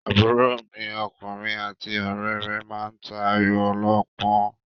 Àbúrò mi ọkùnrin àti ọ̀rẹ́ rẹ̀ máa ta Ayò ọlọ́pọ́n.